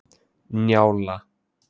Njála